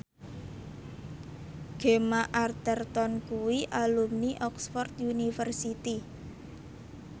Gemma Arterton kuwi alumni Oxford university